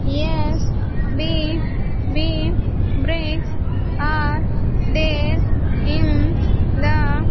S_B_B bricks are there in the --